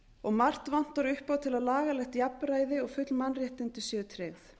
og margt vantar upp á til að lagalegt jafnræði og full mannréttindi séu tryggð